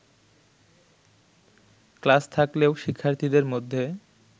class থাকলেও শিক্ষার্থীদের মধ্যে